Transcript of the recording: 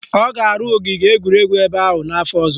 Ọ ga-arụ ogige egwuregwu ebe ahụ n'afọ ọzọ